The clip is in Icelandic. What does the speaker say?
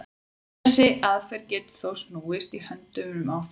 þessi aðferð getur þó snúist í höndunum á þeim